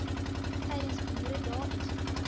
tydens boeredae ens